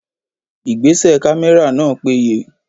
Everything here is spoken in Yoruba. Ìgbésẹ̀ kámẹ́rà náà péye.